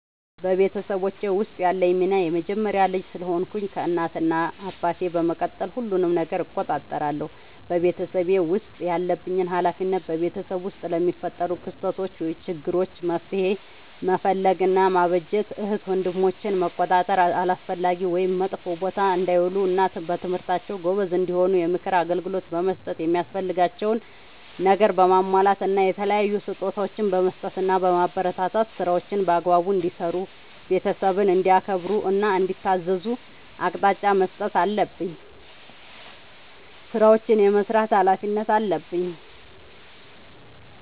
በቤተሰቦቼ ውስጥ ያለኝ ሚና የመጀመሪያ ልጅ ስለሆንኩ ከእናት እና አባቴ በመቀጠል ሁሉንም ነገር እቆጣጠራለሁ። በቤተሰቤ ውስጥ ያለብኝ ኃላፊነት በቤተሰብ ውስጥ ለሚፈጠሩ ክስተቶች ÷ችግሮች መፍትሄ መፈለግ እና ማበጀት ÷ እህት ወንድሞቼን መቆጣጠር አላስፈላጊ ወይም መጥፎ ቦታ እንዳይውሉ እና በትምህርታቸው ጎበዝ እንዲሆኑ የምክር አገልግሎት በመስጠት የሚያስፈልጋቸውን ነገር በማሟላት እና የተለያዩ ስጦታዎችን በመስጠትና በማበረታታት ÷ ስራዎችን በአግባቡ እንዲሰሩ ÷ ቤተሰብን እንዲያከብሩ እና እንዲታዘዙ አቅጣጫ መስጠት አለብኝ። ስራዎችን የመስራት ኃላፊነት አለብኝ።